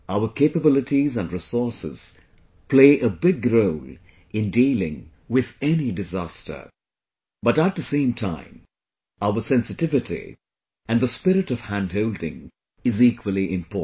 Our capabilities and resources play a big role in dealing with any disaster but at the same time, our sensitivity and the spirit of handholding is equally important